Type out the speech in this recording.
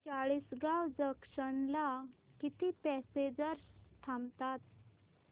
Chalisgaon junction ला किती passengers थांबतात